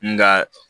Nga